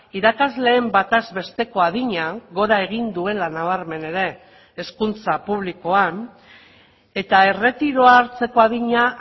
irakasleen bataz besteko adina gora egin duela nabarmen ere hezkuntza publikoan eta erretiroa hartzeko adina